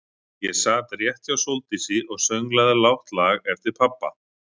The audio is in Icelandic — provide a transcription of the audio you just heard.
Ég sat rétt hjá Sóldísi og sönglaði lágt lag eftir pabba.